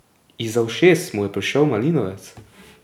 Izza ušes mu je pršel malinovec.